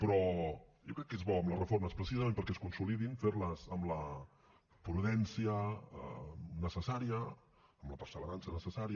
però jo crec que és bo amb les reformes precisament perquè es consolidin fer les amb la prudència necessària amb la perseverança necessària